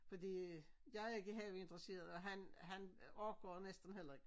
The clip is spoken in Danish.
Fordi jeg er ikke have interesseret og han orker næsten heller ik